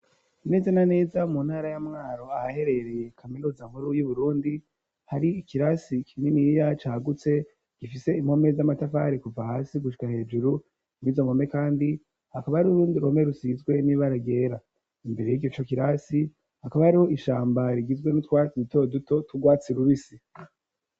Neza na neza, mu ntara ya Mwaro, ahaherereye kaminuza nkuru, y'Uburundi, hari ikirasi kininiya, cagutse; gifise impome z'amatafari, kuva hasi gushika hejuru; mw'izo mpome kandi, hakaba hariho ururundi ruhome, rusizwe n'ibara ryera; imbere y'ico kirasi, hakaba hariho ishamba, rigizwe n'utwatsi duto duto, tw'urwatsi rubisi.